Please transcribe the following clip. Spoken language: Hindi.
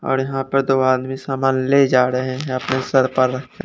और यहां पर दो आदमी सामान ले जा रहे हैं अपने सर पर रखके।